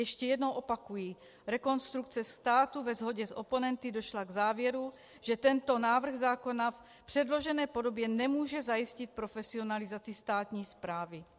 Ještě jednou opakuji - Rekonstrukce státu ve shodě s oponenty došla k závěru, že tento návrh zákona v předložené podobě nemůže zajistit profesionalizaci státní správy.